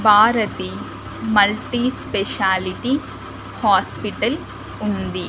Bharati multi specialty hospital ఉంది.